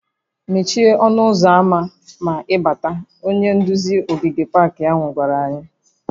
"Mechie ọnụ ụzọ ámá ma ị bátá" Onye nduzi ogige pak ahụ gwara anyị":